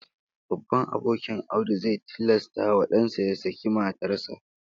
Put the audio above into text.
Baban abokin Audu zai tilasta wa dan nasa ya saki matar sa